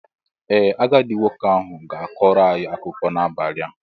Ee, agadi nwoke ahụ ga-akọrọ anyị akụkọ n'abalị a.